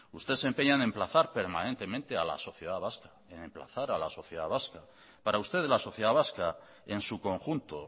usted se empeña en emplazar permanentemente a la sociedad vasca para usted la sociedad vasca en su conjunto